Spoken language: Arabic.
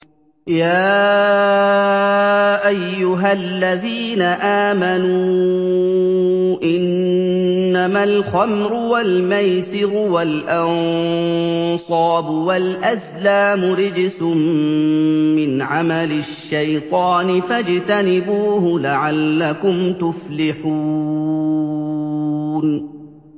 يَا أَيُّهَا الَّذِينَ آمَنُوا إِنَّمَا الْخَمْرُ وَالْمَيْسِرُ وَالْأَنصَابُ وَالْأَزْلَامُ رِجْسٌ مِّنْ عَمَلِ الشَّيْطَانِ فَاجْتَنِبُوهُ لَعَلَّكُمْ تُفْلِحُونَ